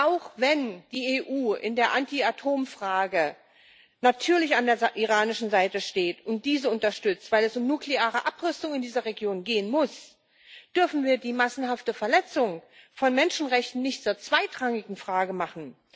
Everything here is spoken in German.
Auch wenn die EU in der Anti Atomfrage natürlich an der iranischen Seite steht und diese unterstützt, weil es um nukleare Abrüstung in dieser Region gehen muss, dürfen wir die massenhafte Verletzung von Menschenrechten nicht zur zweitrangigen Frage machen.